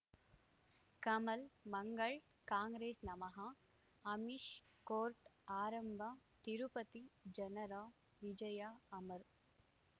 Kamal Mangal Congress ನಮಃ Amish court ಆರಂಭ ತಿರುಪತಿ ಜನರ ವಿಜಯ ಅಮರ್